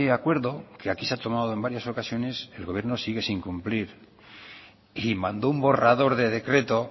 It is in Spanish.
acuerdo que aquí se ha tomado en varias ocasiones el gobierno sigue sin cumplir y mandó un borrador de decreto